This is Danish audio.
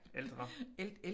Ældre